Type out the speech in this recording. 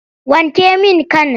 Wanke min kan!